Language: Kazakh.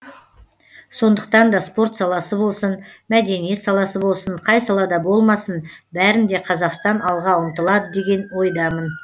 сондықтан да спорт саласы болсын мәдениет саласы болсын қай салада болмасын бәрінде қазақстан алға ұмтылады деген ойдамын